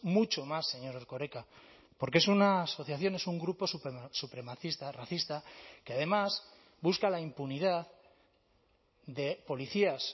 mucho más señor erkoreka porque es una asociación es un grupo supremacista racista que además busca la impunidad de policías